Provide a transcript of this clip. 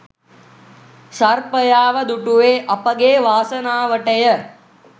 සර්පයාව දුටුවේ අපගේ වාසනාවටය